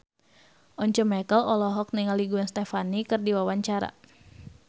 Once Mekel olohok ningali Gwen Stefani keur diwawancara